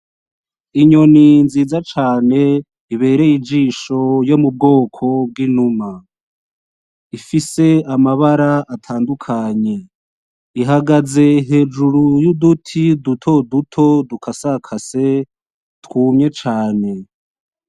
Inyoni nziza cane ibereye ijisho yo mu bwoko bw'inuma ifise amabara atandukanye ihagaze hejuru y’uduti dutoduto dukasakase twumye cane.